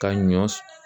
Ka ɲɔ s